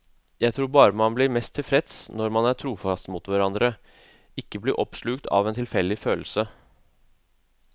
Jeg tror bare man blir mest tilfreds når man er trofaste mot hverandre, ikke blir oppslukt av en tilfeldig følelse.